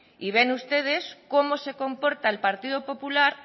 y ven ustedes cómo se comporta el partido popular